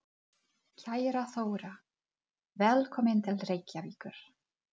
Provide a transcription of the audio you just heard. Kæra Þóra. Velkomin til Reykjavíkur.